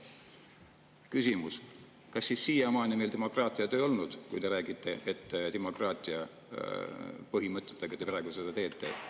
Küsimus: kas siis siiamaani meil demokraatiat ei ole olnud, kui te räägite, et te vastavalt demokraatia põhimõtetele praegu seda teete?